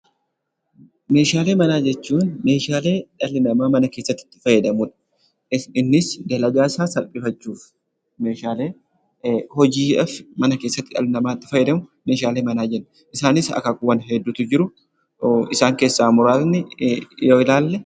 Meeshaalee manaa jechuun meeshaalee dhalli namaa mana keessatti itti fayyadamu dha. Innis dalagaa isaa salphifachuuf meeshaalee hojiif mana keessatti dhalli namaa itti fayyadamu meeshaalee manaa jenna. Isaanis akaakuuwwan hedduutu jiru. Isaan keessaa muraasni yoo ilaalle....